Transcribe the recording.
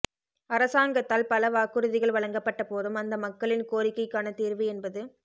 அரசாங்கத்தால் பல வாக்குறுதிகள் வழங்கப்பட்ட போதும் அந்த மக்களின் கோரிக்கைக்கான தீர்வு என்பது